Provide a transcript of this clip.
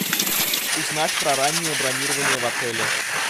узнать про раннее бронирование в отеле